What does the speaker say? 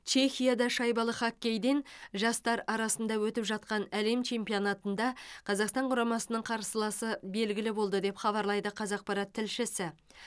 чехияда шайбалы хоккейден жастар арасында өтіп жатқан әлем чемпионатында қазақстан құрамасының қарсыласы белгілі болды деп хабарлайды қазақпарат тілшісі